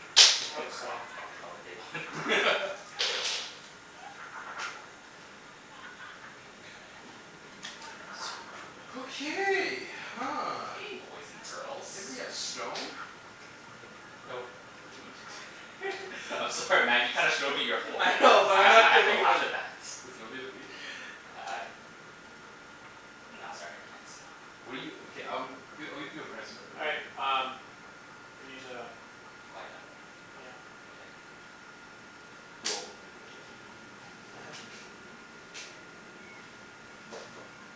Thank you. Oops, Fuck, sorry. fuck is probably a big one. Four. Dirk. Jerk. So much wood. Okay, huh. Okay, boys and girls. Anybody have stone? Nope. Or wheat? I'm sorry Mat, you kinda showed me your whole I hand know, but I I'm have I not have to giving him laugh any. at that. Does nobody have wheat? Uh No, sorry. I can't. What do you, okay, um, g- I'll give you a good price for it. All What do you right, need? um we need to Quiet down? Yep. Mkay. Well, we'll renegotiate after. Yeah.